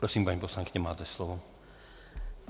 Prosím, paní poslankyně, máte slovo.